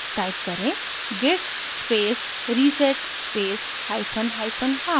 type करें: git space reset space hyphen hyphen hard